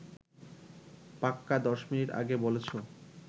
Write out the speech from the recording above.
পাক্কা ১০ মিনিট আগে বলেছো